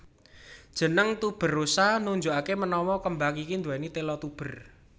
Jeneng tuberosa nunjukake menawa kembang iki nduweni tela tuber